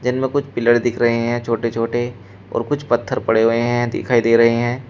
इनमें कुछ पिलर दिख रहे हैं छोटे छोटे और कुछ पत्थर पड़े हुए हैं दिखाई दे रहे हैं।